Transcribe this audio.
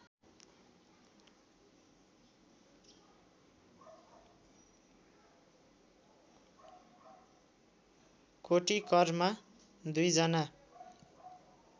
कोटिकरमा दुई जना